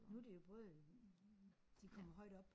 Nu er det jo både de kommer højt op